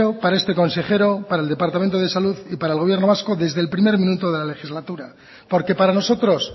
para este consejero para el departamento de salud y para el gobierno vasco desde el primer minuto de la legislatura porque para nosotros